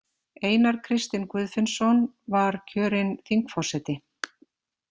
Einar Kristinn Guðfinnsson var kjörinn þingforseti.